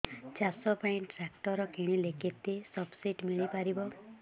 ଚାଷ ପାଇଁ ଟ୍ରାକ୍ଟର କିଣିଲେ କେତେ ସବ୍ସିଡି ମିଳିପାରିବ